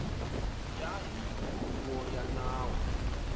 ya hi huvo ya nawu